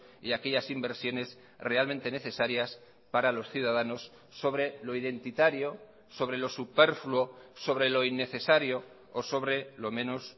y aquellas inversiones realmente necesarias para los ciudadanos sobre lo identitario sobre lo superfluo sobre lo innecesario o sobre lo menos